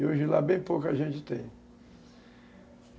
E hoje lá bem pouca gente tem.